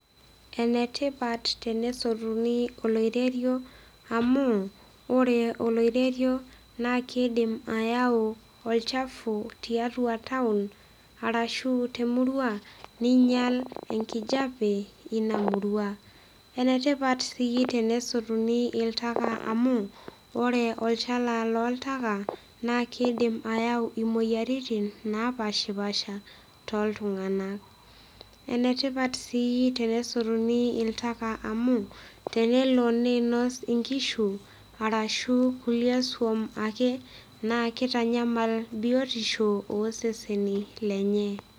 Enetipat enesotuni oloiterio amuu, oore oloiterio naa keidim ayau olchafu tiatua town arashu temurua, neinyial enkijape, iina murua. Enetipat si tesotuni oltaka amuu, oore olchala loltaka naa keidim ayau imueyiaritin napaashipaasha toltung'anak. Enetipat sii enesotuni oltaka amuu, tenelo neinos inkishu arashu kulie swam aake, naa keitanyamal biotisho oseseni lenye.